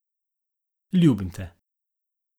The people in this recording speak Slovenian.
Ljubim te.